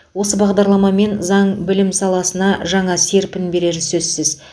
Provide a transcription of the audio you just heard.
осы бағдарлама мен заң білім саласына жаңа серпін берері сөзсіз